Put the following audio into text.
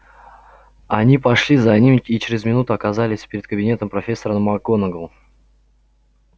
они пошли за ним и через минуту оказались перед кабинетом профессора макгонагалл